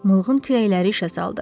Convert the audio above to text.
Mılğın kürəkləri işə saldı.